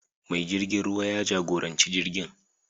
Mai jirgin ruwa ya jagoranci jirgin.